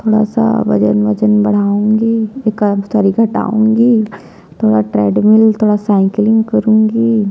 थोड़ा सा वजन-वजन बढ़ाउंगी एकाद कनी घटाउंगी थोड़ा ट्रेडमिल थोड़ा साइकिलिंग करुँगी--